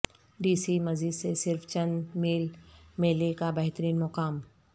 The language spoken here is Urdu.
ڈی سی مزید سے صرف چند میل میلے کا بہترین مقام